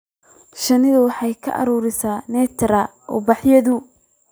Shinnidu waxay ka ururisaa nectar ubaxyada.